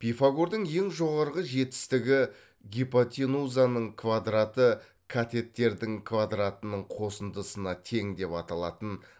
пифагордың ең жоғарғы жетістігі гипотенузаның квадраты катеттердің квадартының қосындысына тең деп аталатын